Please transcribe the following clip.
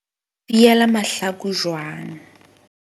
Fiela mahlaku jwang.